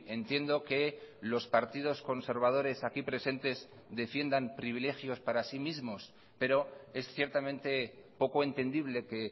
entiendo que los partidos conservadores aquí presentes defiendan privilegios para sí mismos pero es ciertamente poco entendible que